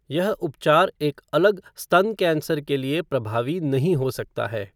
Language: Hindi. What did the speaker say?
ये उपचार एक अलग स्तन कैंसर के लिए प्रभावी नहीं हो सकता है।